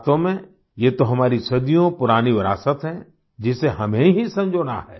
वास्तव में ये तो हमारी सदियों पुरानी विरासत है जिसे हमें ही संजोना है